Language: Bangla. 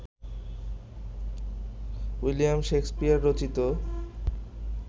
উইলিয়াম শেকসপিয়র রচিত